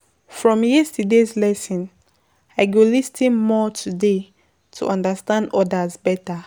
From yesterday’s lesson, I go lis ten more today to understand others better.